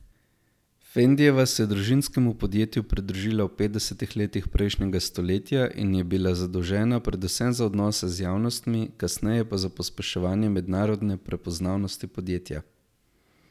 Fendijeva se je družinskemu podjetju pridružila v petdesetih letih prejšnjega stoletja in bila zadolžena predvsem za odnose z javnostmi, kasneje pa za pospeševanje mednarodne prepoznavnosti podjetja.